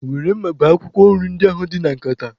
Were mma bee akwụkwọ nri ndị ahụ dị na nkata